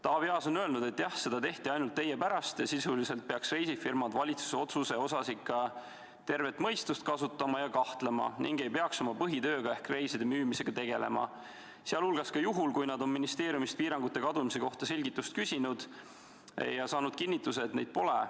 Taavi Aas on öelnud, et jah, seda tehti ainult teie pärast, ning sisuliselt peaks reisifirmad valitsuse otsuse puhul ikka tervet mõistust kasutama ja kahtlema ega peaks oma põhitööga ehk reiside müümisega tegelema, ka siis mitte, kui nad on ministeeriumist piirangute kadumise kohta selgitust küsinud ja saanud kinnituse, et neid pole.